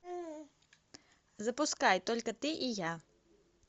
запускай только ты и я